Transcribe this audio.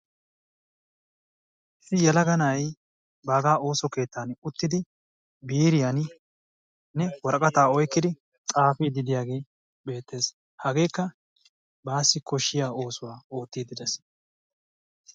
Issi yelaga na'ay baggaa ooso keettaani uttidi biiriyanne woraqqata oyqqidi xaafidi diyage betees. hageekka basi koshshiyaa oosuwaa oottidi de'ees.